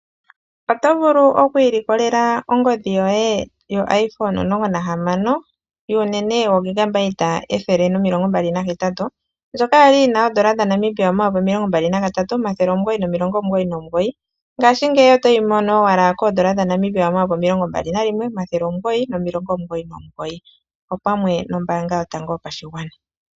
Oto vulu oku ilikolela ongodhi yoye yo iPhone 16 yuunene wo128GB ndjoka ya li yi na N$23499 ngashingeyi oto yi mono owala koN$21999 opamwe nombaanga yotango yopashigwana.